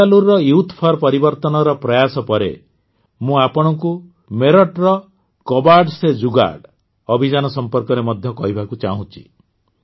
ବେଙ୍ଗାଲୁରୁର youth for ପରିବର୍ତ୍ତନର ପ୍ରୟାସ ପରେ ମୁଁ ଆପଣଙ୍କୁ ମେରଠର କବାଡ ସେ ଜୁଗାଡ଼ ଅଭିଯାନ ସମ୍ପର୍କରେ ମଧ୍ୟ କହିବାକୁ ଚାହୁଁଛି